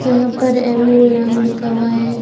यहां पर ऐमू नाम लिखा हुआ है।